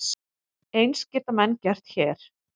Eins geta menn gert hér.